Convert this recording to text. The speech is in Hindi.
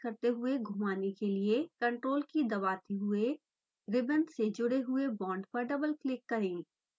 ctrl key दबाते हुएribbon से जुड़े हुए बांड पर डबल क्लिक करें